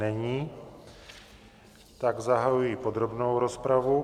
Není, tak zahajuji podrobnou rozpravu.